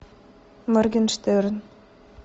моргенштерн